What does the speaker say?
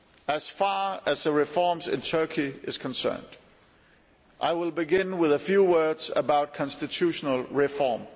As far as the reforms in Turkey are concerned, I will begin with a few words about constitutional reform.